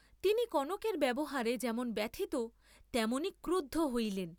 তিনি কনকের ব্যবহারে যেমন ব্যথিত তেমনই ক্রুদ্ধ হইলেন।